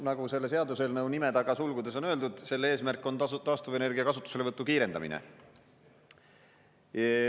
Nagu selle seaduseelnõu nime taga sulgudes on öeldud, selle eesmärk on asuda taastuvenergia kasutuselevõttu kiirendama.